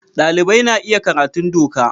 Dalibai na iya karatun doka.